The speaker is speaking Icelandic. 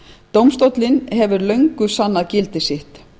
dómstólinn hefur fyrir löngu sannað gildi sitt